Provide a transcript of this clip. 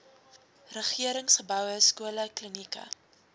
regeringsgeboue skole klinieke